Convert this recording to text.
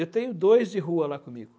Eu tenho dois de rua lá comigo.